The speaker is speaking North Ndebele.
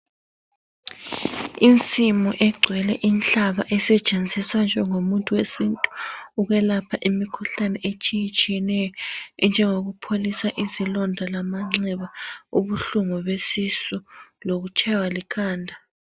Insimu egcwele inhlaba esetshenziswa njengomuthi wesintu ukwelapha imikhuhlane etshiyetshiyeneyo enjengokupholisa izilonda lamanxeba ,ubuhlungu besisu lokutshaywa likhanda.